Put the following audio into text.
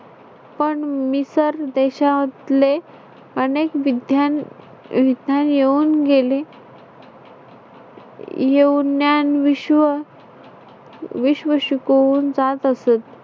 पण मिसर देशातले अनेक विद्या विधान येऊन गेले. येऊन ज्ञान विश्व विश्व शिकवून जात असत.